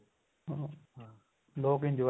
ਅਹ ਹਾਂ ਲੋਕ enjoy